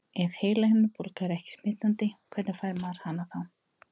Ef heilahimnubólga er ekki smitandi, hvernig fær maður hana þá?